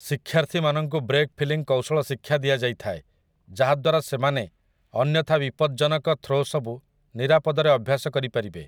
ଶିକ୍ଷାର୍ଥୀମାନଙ୍କୁ break falling କୌଶଳ ଶିକ୍ଷା ଦିଆଯାଇଥାଏ, ଯାହାଦ୍ୱାରା ସେମାନେ ଅନ୍ୟଥା ବିପଜ୍ଜନକ ଥ୍ରୋ ସବୁ ନିରାପଦରେ ଅଭ୍ୟାସ କରିପାରିବେ ।